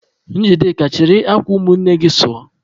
Njideka, chịrị akwa ụmụnne gị sụọ!